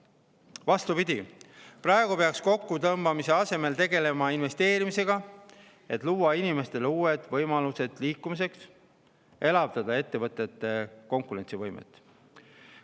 Vastupidi, praegu peaks kokkutõmbamise asemel tegelema investeerimisega, et luua inimestele uued võimalused liikumiseks ja elavdada ettevõtete konkurentsivõimet.